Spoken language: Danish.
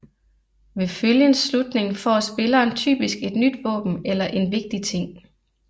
Ved følgens slutning får spilleren typisk et nyt våben eller en vigtig ting